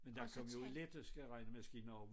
Men der kom jo elektriske regnemaskiner også